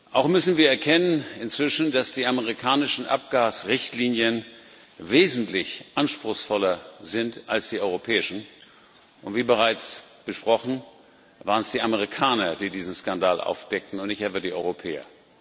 Auch müssen wir inzwischen erkennen, dass die amerikanischen Abgasrichtlinien wesentlich anspruchsvoller sind als die europäischen und, wie bereits besprochen, es die Amerikaner waren, die diesen Skandal aufdeckten, und nicht etwa die Europäer.